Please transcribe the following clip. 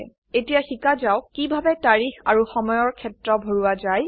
এতিয়া শিকা যাওক কিভাবে তাৰিখ আৰু সময়ৰ ক্ষেত্ৰ ভৰোৱা যায়